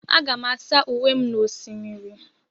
Aga m asa uwe m n'osimiri.